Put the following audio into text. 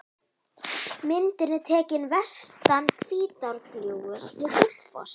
Myndin er tekin vestan Hvítárgljúfurs við Gullfoss.